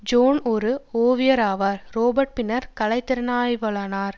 zone ஓர் ஓவியராவார் Robert பின்னர் கலை திறனாய்வாளரானார்